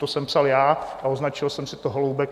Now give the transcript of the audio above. To jsem psal já a označil jsem si to Holoubek.